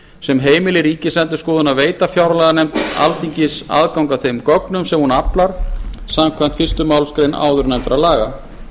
sem heimili ríkisendurskoðun að veita fjárlaganefnd alþingis aðgang að þeim gögnum sem hún aflar samkvæmt fyrstu málsgrein áðurnefndra laga